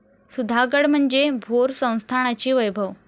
सुधागड म्हणजे भोर संस्थानाचे वैभव.